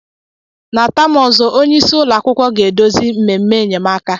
Na taam ọzọ, onye isi ụlọ akwụkwọ ga-edozi mmemme enyemaka.